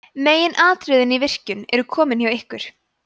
meginatriðin í virkjun eru komin hjá ykkur